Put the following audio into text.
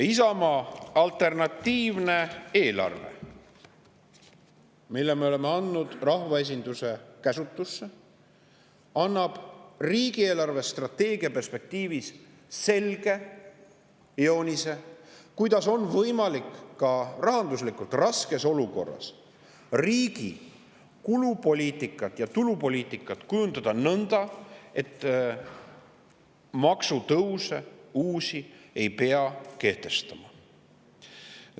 Isamaa alternatiivne eelarve, mille me oleme andnud rahvaesinduse käsutusse, annab riigi eelarvestrateegia perspektiivis selge joonise, kuidas on võimalik ka rahanduslikult raskes olukorras riigi kulupoliitikat ja tulupoliitikat kujundada nõnda, et uusi maksutõuse ei peaks kehtestama.